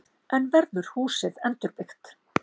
En verður húsið endurbyggt?